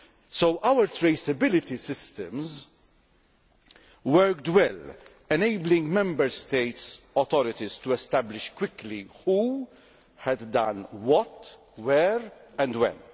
So our traceability systems worked well enabling Member States' authorities to establish quickly who had done what, where and when.